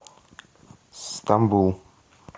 стамбул